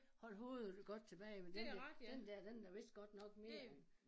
Holde hovedet godt tilbage men den der den der den er vist godt nok mere end